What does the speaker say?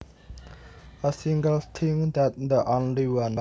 A single thing is the only one